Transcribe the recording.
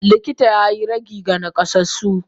Likita yayi ragi ga nakasassu.